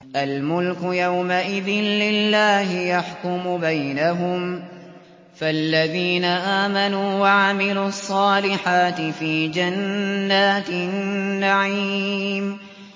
الْمُلْكُ يَوْمَئِذٍ لِّلَّهِ يَحْكُمُ بَيْنَهُمْ ۚ فَالَّذِينَ آمَنُوا وَعَمِلُوا الصَّالِحَاتِ فِي جَنَّاتِ النَّعِيمِ